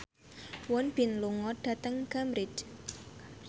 Won Bin lunga dhateng Cambridge